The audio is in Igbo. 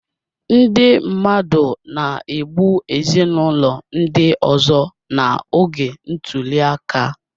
Ndị mmadụ na-egbu ezinụlọ ndị ọzọ n'oge ntuli aka